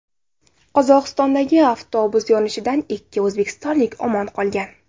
Qozog‘istondagi avtobus yonishidan ikki o‘zbekistonlik omon qolgan.